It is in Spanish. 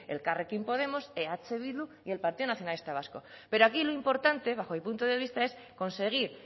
elkarrekin podemos eh bildu y el partido nacionalista vasco pero aquí lo importante bajo mi punto de vista es conseguir